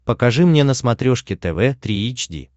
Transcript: покажи мне на смотрешке тв три эйч ди